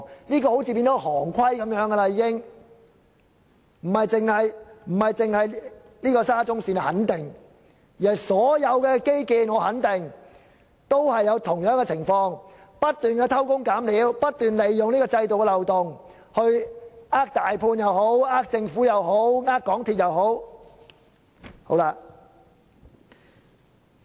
這種情況仿如成為行規，不僅是沙中線，我肯定所有其他基建都有相同情況，不斷偷工減料、不斷利用制度的漏洞來欺騙大判、政府或港鐵公司等。